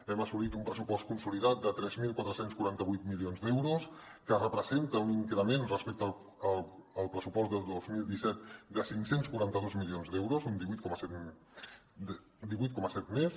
hem assolit un pressupost consolidat de tres mil quatre cents i quaranta vuit milions d’euros que representa un increment respecte al pressupost del dos mil disset de cinc cents i quaranta dos milions d’euros un divuit coma set més